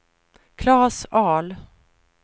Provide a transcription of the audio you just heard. Klas Ahl